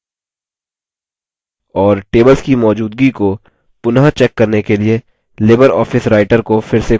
3 और tables की मौजूदगी को पुनः check करने के लिए libreoffice writer को फिर से खोलें